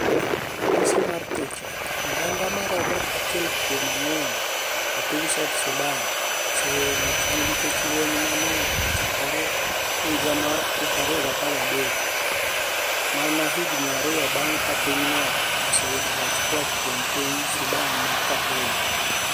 Raniyisi mar picha Oganida maromo achiel kuom anig'weni e piniy South Sudani, oseweyo miechgi niikech lweniy ma ni e ochakore e higa mar 2013, mania hignii ariyo banig' ka piny no oseyudo loch koa kuom piniy Sudani ma Khartoum